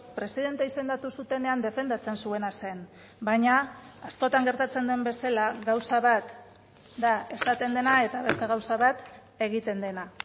presidente izendatu zutenean defendatzen zuena zen baina askotan gertatzen den bezala gauza bat da esaten dena eta beste gauza bat egiten dena